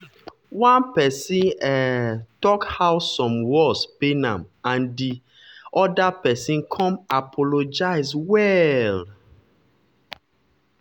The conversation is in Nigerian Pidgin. one person um talk how some words pain am and di and di other person come apologize well.